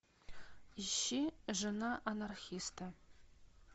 ищи жена анархиста